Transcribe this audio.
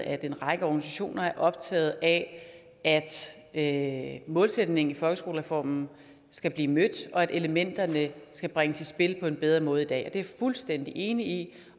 at en række organisationer er optaget af at at målsætningen i folkeskolereformen skal blive mødt og at elementerne skal bringes i spil på en bedre måde i dag det er jeg fuldstændig enig i